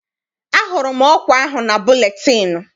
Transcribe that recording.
Ahụrụ m ọkwa ahụ na buletịịnụ.